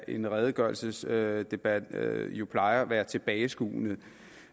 en redegørelsesdebat jo plejer at være tilbageskuende